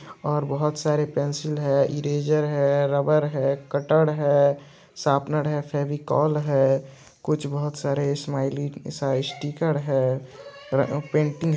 और बहोत सारे पेंसिल है ईरैसर है रबर है कटर है सर्पनर है फेविकोल है कुछ बहोत सारे स्माइली सा स्टीकर है र-अ पेंटिंग